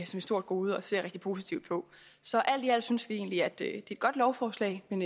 stort gode og ser rigtig positivt på så alt i alt synes vi egentlig at det er et godt lovforslag men